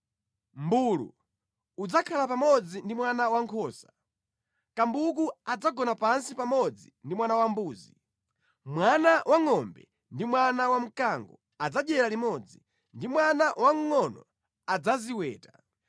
Mʼmbulu udzakhala pamodzi ndi mwana wankhosa, kambuku adzagona pansi pamodzi ndi mwana wambuzi, mwana wangʼombe ndi mwana wa mkango adzadyera limodzi ndipo mwana wamngʼono adzaziweta.